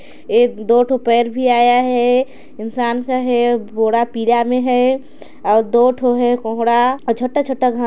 एक-दो ठोक पैर भी आया हैं इंसान का हैं अउ बोरा पिला में हैं अउ दो ठो हैं कोहड़ा अउ छोटा-छोटा घा--